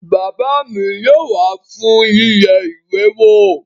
Bàbá mi yóò wá fún yíyẹ ìwé wò